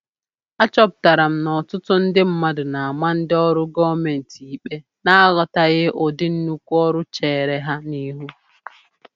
A chọpụtara m n'ọtụtụ ndị mmadụ na-ama ndị ọrụ gọọmentị ikpe na-aghọtaghị ụdị nnukwu ọrụ cheere ha n'ihu.